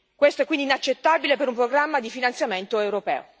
Questo è quindi inaccettabile per un programma di finanziamento europeo.